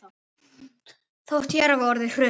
Þótt hér hafi orðið hrun.